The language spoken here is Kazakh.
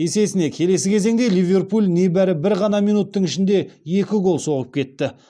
есесіне келесі кезеңде ливерпуль небәрі бір ғана минуттың ішінде екі гол соғып кетті